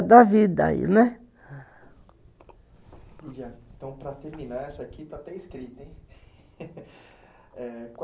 Da vida aí, né. Então, para terminar, isso aqui está até escrito, heim,